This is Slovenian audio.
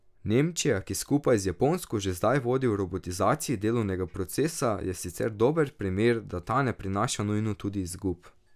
Nemčija, ki skupaj z Japonsko že zdaj vodi v robotizaciji delovnega procesa, je sicer dober primer, da ta ne prinaša nujno tudi izgub.